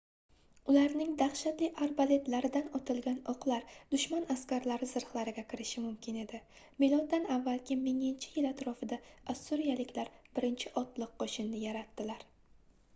ularning dahshatli arbaletlaridan otilgan oʻqlar dushman askarlari zirhlariga kirishi mumkin edi miloddan avvalgi 1000-yil atrofida ossuriyaliklar birinchi otliq qoʻshinni yaratdilar